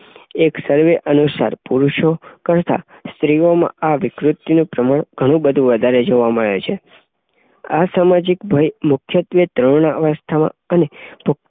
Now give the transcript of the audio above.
એક સર્વે અનુસાર પુરૂષો કરતાં સ્ત્રીઓમાં આ વિકૃતિનું પ્રમાણ ઘણું બધું વધારે જોવા મળે છે. આ સામાજિક ભય મુખ્યત્વે તરુણાવસ્થા માં અને ભ